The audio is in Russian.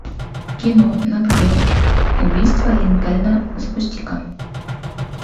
кино нат гео убийство линкольна запусти ка